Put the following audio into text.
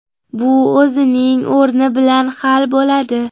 Bu o‘zining o‘rni bilan hal bo‘ladi.